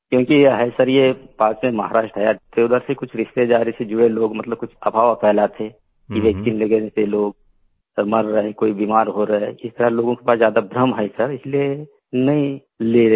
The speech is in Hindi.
क्योंकि ये है सर ये पास में महाराष्ट्र है उधर से कुछ रिश्तेदारी से जुड़े लोग मतलब कुछ अफ़वाह फैलाते कि वैक्सीन लगाने से लोग सब मर रहा है कोई बीमार हो रहा है कि सर लोगों के पास ज्यादा भ्रम है सर इसलिए नहीं ले रहे हैं